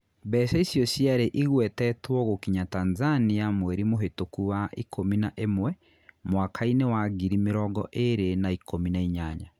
Mbeca icio ciarĩ igwetetwo gũkinya Tanzania mweri mũhitũku wa ikũmi na imwe mwakainĩ wa ngiri mĩrongo ĩĩrĩ na ikũmi na inyanya.